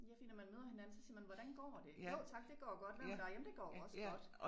Ja fordi når man møder hinanden så siger man hvordan går det jo tak det går godt hvad med dig jamen det går også godt